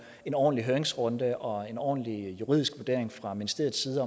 en ordentlig høringsrunde og en ordentlig juridisk vurdering fra ministeriets side af